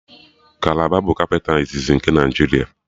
Kalaba bụ kapịta iziz nke Naịjiria